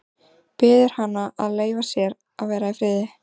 Biður hana að leyfa sér að vera í friði.